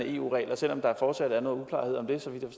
eu regler selv om der fortsat er noget uklarhed om det så vidt